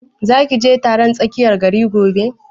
Za ki je taron a tsakiyar gari gobe?